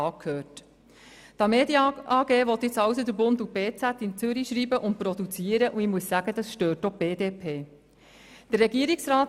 Die Tamedia AG will nun also «Der Bund» und «Berner Zeitung» in Zürich schreiben und produzieren, und ich muss sagen, das stört auch die BDPFraktion.